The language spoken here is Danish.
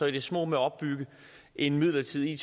i det små med at opbygge en midlertidig